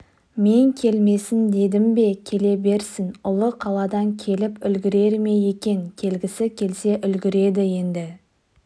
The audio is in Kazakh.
мен келмесін дедім бе келе берсін ұлы қаладан келіп үлгірер ме екен келгісі келсе үлгіреді енді